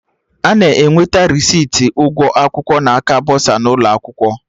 Ana enweta resiti ụgwọ akwụkwọ na aka bọsa n'ụlọ akwụkwọ